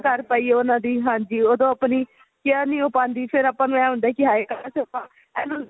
ਕਰ ਪਾਈਏ ਉਹਨਾ ਦੀ ਹਾਂਜੀ ਉਦੋਂ ਆਪਣੀ care ਨਹੀਂ ਹੋ ਪਾਂਦੀ ਫ਼ਿਰ ਆਪਾ ਨੂੰ ਇਹ ਹੁੰਦਾ ਹੈ ਕੀ ਹਾਏ ਕਾਸ਼ ਆਪਾਂ ਇਹਨੂੰ